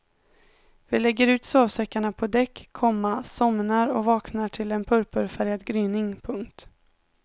Vi lägger ut sovsäckarna på däck, komma somnar och vaknar till en purpurfärgad gryning. punkt